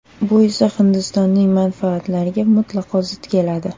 Bu esa Hindistonning manfaatlariga mutlaqo zid keladi.